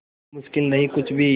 अब मुश्किल नहीं कुछ भी